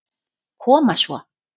Koma svo.